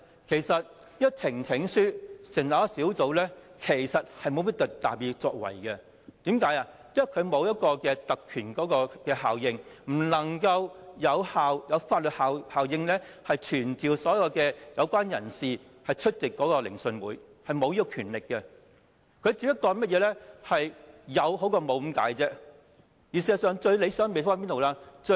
透過呈請書成立小組委員會其實沒有甚麼特別作為，因為它沒有特權效應，不能夠有法律效力傳召所有有關人士出席聆訊，是沒有這樣的權力的，只是有總比沒有的好而已。